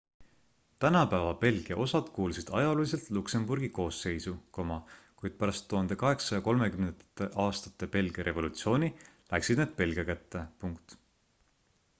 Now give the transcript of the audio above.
tänapäeva belgia osad kuulusid ajalooliselt luksemburgi koosseisu kuid pärast 1830ndate aastate belgia revolutsiooni läksid need belgia kätte